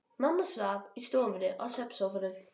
Mamma svaf í stofunni á svefnsófa.